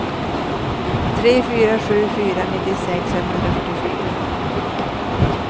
tre fyra sju fyra nittiosex femhundrafyrtiofyra